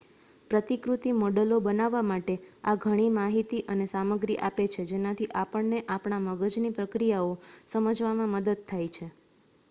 પ્રતિકૃતિ મૉડલો બનાવવા માટે આ ઘણી માહિતી અને સામગ્રી આપે છે જેનાથી આપણને આપણા મગજની પ્રક્રિયાઓ સમજવામાં મદદ થાય છે